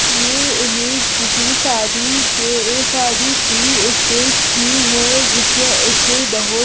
ये इमेज किसी शादी के शादी की स्टेज की है जिसमें स्टेज बहुत--